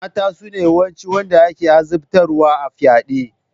Mata sune yawancin wanda ake azabtarwa a fyaɗe.